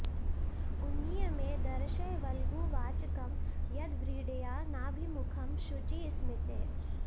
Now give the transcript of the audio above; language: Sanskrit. उन्नीय मे दर्शय वल्गु वाचकं यद्व्रीडया नाभिमुखं शुचिस्मिते